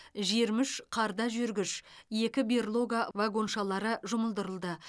жиырма үш қарда жүргіш екі берлога вагоншалары жұмылдырылды